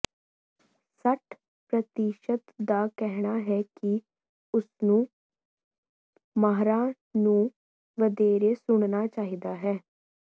ਸੱਠ ਪ੍ਰਤੀਸ਼ਤ ਦਾ ਕਹਿਣਾ ਹੈ ਕਿ ਉਸਨੂੰ ਮਾਹਰਾਂ ਨੂੰ ਵਧੇਰੇ ਸੁਣਨਾ ਚਾਹੀਦਾ ਹੈ